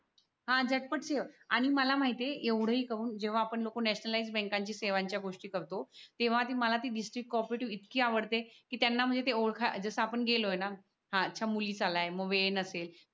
हा झटपट सेवा आणि मला माहित आहे एवढय कावून जेव्हा आपण नॅशनलाईस बँका च्या सेवांची गोष्टी करतो तेव्हा ती मला डीस्ट्रीक्त को ओप्रेटीव बँक इतकी आवडते कि त्यांना म्हणजे ती ओळकायला जस आपण गेलो न हा मुलीच आल्याय मग वेळ नसेल